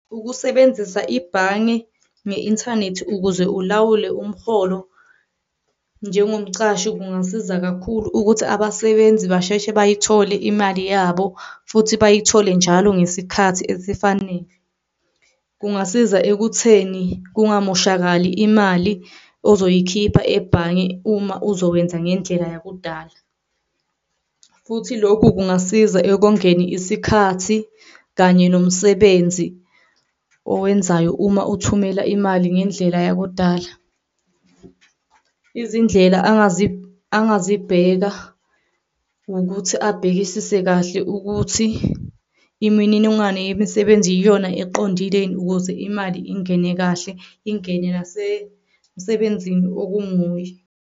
Ukusebenzisa ibhange nge-inthanethi ukuze ulawule umholo njengomcashi kungasiza kakhulu ukuthi abasebenzi basheshe bayithole imali yabo futhi bayithole njalo ngesikhathi esifanele. Kungasiza ekutheni kungamoshakali imali ozoyikhipha ebhange uma uzowenza ngendlela yakudala, futhi lokhu kungasiza ekongeni isikhathi kanye nomsebenzi owenzayo uma uthumela imali ngendlela yakudala. Izindlela angazibheka wukuthi abhekisise kahle ukuthi imininingwane yemisebenzi iyona eqondileni ukuze imali ingene kahle, ingene nase msebenzini okunguye.